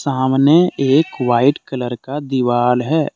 सामने एक white colour का दिवाल है।